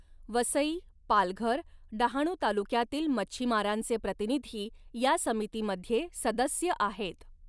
वसई, पालघर, डहाणू तालुक्यातील मच्छीमारांचे प्रतिनिधी या समितीमध्ये सदस्य आहेत.